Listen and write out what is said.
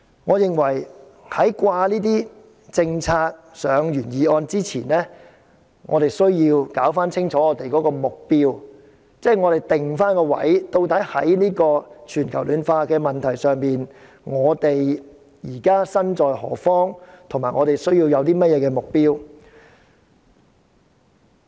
我認為把政策掛上原議案前，我們需要釐清目標及定位，在全球暖化問題上，我們身在何方，以及需要怎樣的目標。